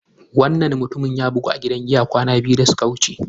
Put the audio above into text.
Wannan mutumin ya bugu a cikin gidan giya kwana biyu da suka wuce.